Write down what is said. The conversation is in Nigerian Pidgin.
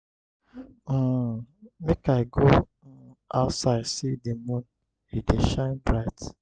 um make i go um outside see di moon e dey shine bright.